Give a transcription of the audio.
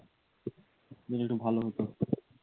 যদি একটু ভাল হত